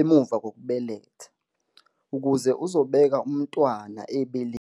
emuva kokubeletha, ukuze uzobeka umntwana ebeleni.